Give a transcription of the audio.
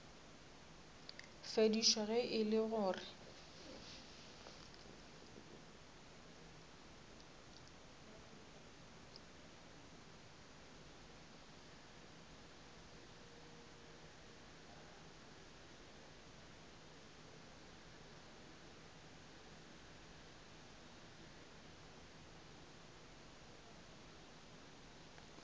fedišwa ge e le gore